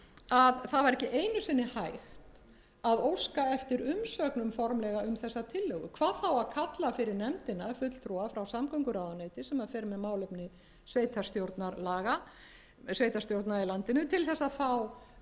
að það var ekki einu sinni hægt að óska eftir umsögnum formlega um þessa tillögu hvað þá að kalla fyrir nefndina fulltrúa frá samgönguráðuneyti sem fer með málefni sveitarstjórna í landinu til þess að fá uppgefið